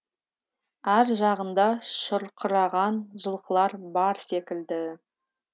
ар жағында шұрқыраған жылқылар бар секілді